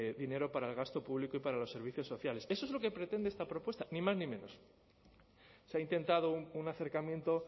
dinero para el gasto público y para los servicios sociales eso es lo que pretende esta propuesta ni más ni menos se ha intentado un acercamiento